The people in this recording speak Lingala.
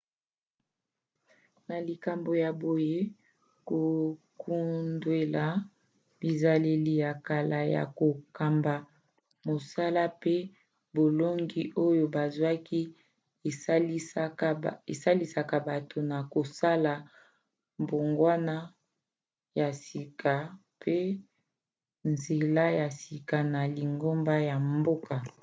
na likambo ya boye kokundwela bizaleli ya kala ya kokamba mosala pe bolongi oyo bazwaki esalisaka bato na kosala mbongwana ya sika mpe nzela ya sika na lingomba ya mboka